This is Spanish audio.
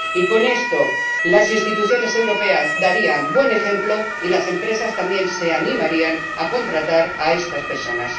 Y con esto, las instituciones europeas darían buen ejemplo y las empresas también se animarían a contratar a estas personas.